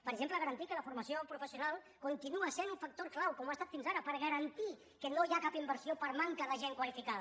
per exemple garantir que la formació professional continua sent un factor clau com ho ha estat fins ara per garantir que no hi ha cap inversió per manca de gent qualificada